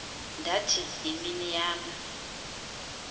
ndathi yimini yam